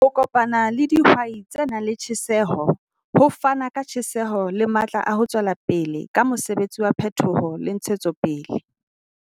Ho kopana le dihwai tse nang le tjheseho ho fana ka tjheseho le matla a ho tswela pele ka mosebetsi wa phetoho le ntshetsopele.